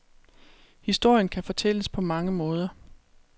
Historien kan fortælles på mange måder.